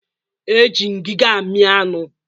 E ji ngiga amị anụ